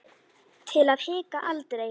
Til að hika aldrei.